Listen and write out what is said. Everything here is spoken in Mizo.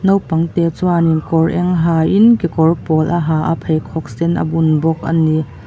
naupangte chuanin kawr eng ha in kekawr pawl a ha a pheikhawk sen a bun bawk ani.